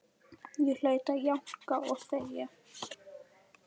Ég hlaut að jánka og þegja.